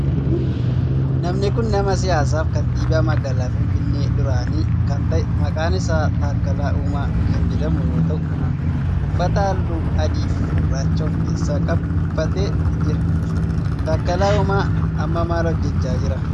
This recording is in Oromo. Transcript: Namni kun nama siyaasaa fi kantiibaa magaalaa finfiinnee duraanii kan ta'e maqaan isaa Takkalaa Uumaa kan jedhamu yoo ta'u uffata halluu adii fi gurraacha of keessa qabu uffatee jira. Takkalaa uumaa amma maal hojjechaa jira?